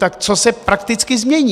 Tak co se prakticky změní?